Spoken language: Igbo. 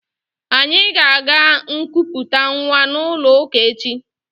Anyị ga-aga nkuputa nwa n'ụlọụka echi